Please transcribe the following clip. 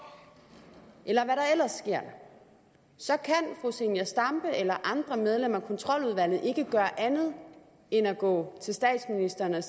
eller ellers sker så kan fru zenia stampe eller andre medlemmer af kontroludvalget ikke gøre andet end at gå til statsministeren og